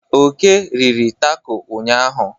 Oke riri tako ụnyanya.